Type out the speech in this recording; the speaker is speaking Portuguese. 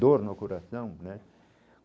Dor no coração, né?